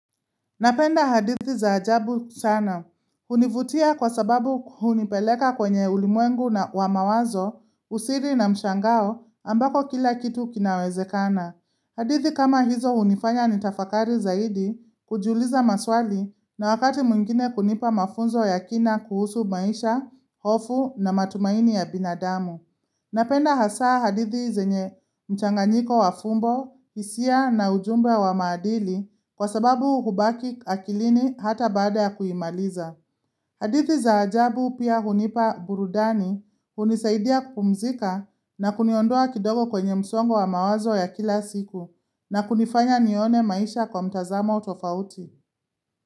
Napenda hadithi za ajabu sana. Hunivutia kwa sababu hunipeleka kwenye ulimwengu na wa mawazo, usiri na mshangao ambako kila kitu kinawezekana. Hadithi kama hizo hunifanya nitafakari zaidi kujiuliza maswali na wakati mwingine kunipa mafunzo ya kina kuhusu maisha, hofu na matumaini ya binadamu. Napenda hasa hadithi zenye mchanganyiko wa fumbo, hisia na ujumbe wa maadili, kwa sababu hubaki akilini hata baada ya kuimaliza. Hadithi za ajabu pia hunipa burudani, hunisaidia kupumzika na kuniondoa kidogo kwenye msongo wa mawazo ya kila siku, na kunifanya nione maisha kwa mtazamo tofauti.